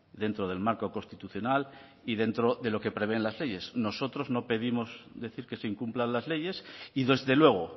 dentro del marco constitucional y dentro de lo que prevén las leyes nosotros no pedimos decir que se incumplan las leyes y desde luego